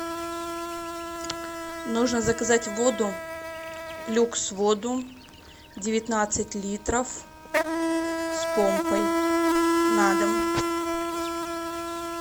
нужно заказать воду люкс воду девятнадцать литров с помпой на дом